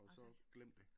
Og så glem det